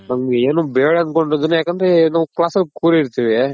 ನಮ್ಗೆ ಏನು ಬೇಡ ಅನ್ಕೊಂಡ್ರುನು ಯಾಕಂದ್ರೆ ನಾವ್ class ಅಲ್ಲಿ ಕೂರಿರ್ತಿವಿ.